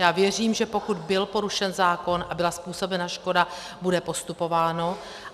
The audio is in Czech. Já věřím, že pokud byl porušen zákon a byla způsobena škoda, bude postupováno.